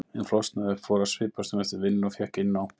en flosnaði upp, fór að svipast um eftir vinnu og fékk inni á